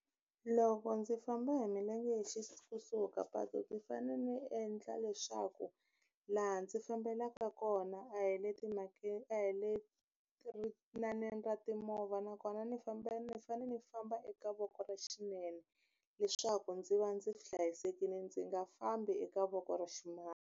Loko ndzi famba hi milenge kusuhi ka patu ndzi fane ni endla leswaku laha ndzi fambelaka kona a hi le a hi le ra timovha nakona ni ni fanele ni famba eka voko ra xinene leswaku ndzi va ndzi hlayisekile ndzi nga fambi eka voko ra ximatsi.